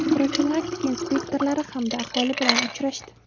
profilaktika inspektorlari hamda aholi bilan uchrashdi.